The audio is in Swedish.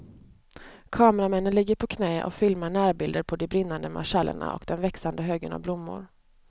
Kameramännen ligger på knä och filmar närbilder på de brinnande marschallerna och den växande högen av blommor.